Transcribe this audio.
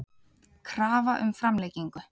Krafa um framlengingu